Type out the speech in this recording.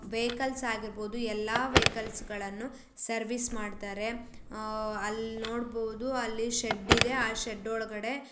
Vehicles ಆಗಿರಬಹುದು ಎಲ್ಲಾ vehicles ಗಳನ್ನು ಸರ್ವಿಸ್ ಮಾಡತ್ತರೆ. ಅಹ್ ಅಲ್ಲನೋಡಬಹುದು ಅಲ್ಲಿ ಶೆಡ್ಡ ಇದೆ ಆ ಶೆಡ್ಡ ಒಳಗಡೆ--